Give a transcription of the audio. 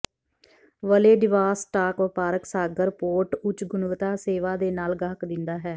Vladivostok ਵਪਾਰਕ ਸਾਗਰ port ਉੱਚ ਗੁਣਵੱਤਾ ਸੇਵਾ ਦੇ ਨਾਲ ਗਾਹਕ ਦਿੰਦਾ ਹੈ